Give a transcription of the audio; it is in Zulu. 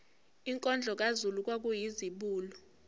inkondlo kazulu kwakuyizibulo